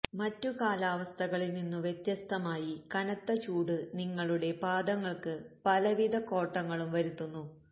മറ്റു കാലാവസ്ഥകളില് നിന്നു വ്യത്യസ്തമായി കനത്ത ചൂട് നിങ്ങളുടെ പാദങ്ങള്ക്ക് പലവിധ കോട്ടങ്ങളും വരുത്തുന്നു